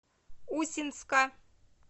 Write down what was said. усинска